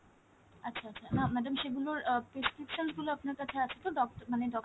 আচ্ছা আচ্ছা, না madam সেগুলোর আহ prescriptions গুলো আপনার কাছে আছে তো ডক~ মানে doctor